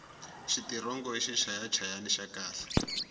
xitirongo i xichaya hayani xa khale